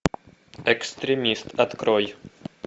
экстремист открой